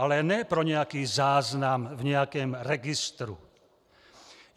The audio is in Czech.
Ale ne pro nějaký záznam v nějakém registru.